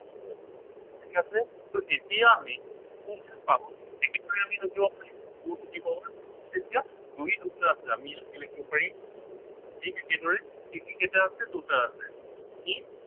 ঠিক আছে। so এতিয়া আমি কি কৰিম, একেবাৰে আমি নোযোৱা কৰিম two to the power এতিয়া দুই দুটা আছে, আমি ইয়াত কি লিখিব পাৰিম ঠিক একেদৰে তিনি কেইটা আছে, দুটা আছে। ই